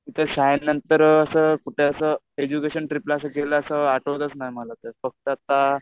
नंतर असं कुठे असं एडज्युकेशन ट्रीपला असं गेलं असं आठवतच नाही मला तर फक्त आता